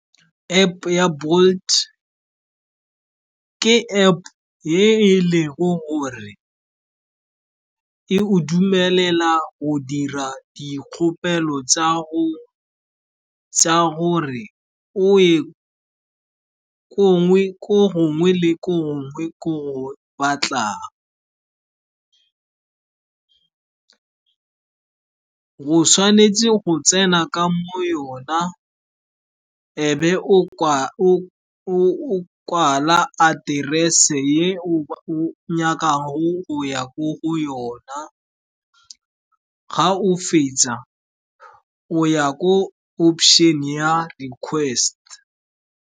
App ya Bolt ke App ye e lego gore e go dumelela o dira dikgopelo tsa gore o ye ko gongwe le gongwe ko go batlang. O tshwanetse go tsena ka mo yona, e be o kwala aterese ye o nyakago go ya ko go yona. Ga o fetsa, o ya ko option ya request.